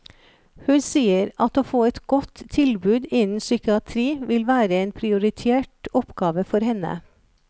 Hun sier at å få et godt tilbud innen psykiatri vil være en prioritert oppgave for henne.